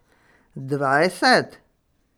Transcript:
Dvajset?